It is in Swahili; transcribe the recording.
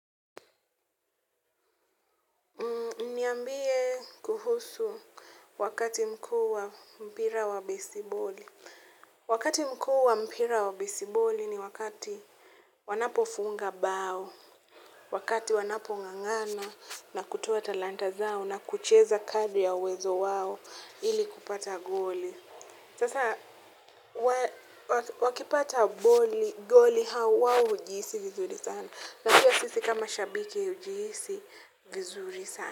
Niambie kuhusu wakati mkuu wa mpira wa besiboli. Wakati mkuu wa mpira wa besiboli ni wakati wanapofunga mbao. Wakati wanapongangana na kutoa talanta zao na kucheza kadri ya uwezo wao ili kupata goli. Sasa wakipata goli wao hujihisi vizuri sana. Na pia sisi kama shabiki hujiisi vizuri sana.